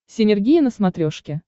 синергия на смотрешке